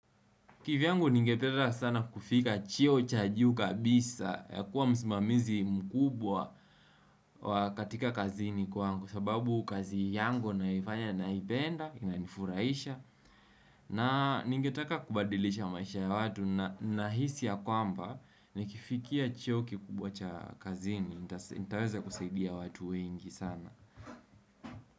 Kivyangu ningependa sana kufika cheo cha juu kabisa ya kuwa msimamizi mkubwa katika kazini kwangu sababu kazi yangu nayoifanya ninaipenda, inanifurahisha na ningetaka kubadilisha maisha ya watu. Nahisi ya kwamba nikifikia cheo kikubwa cha kazini, nitaweza kusaidia watu wengi sana.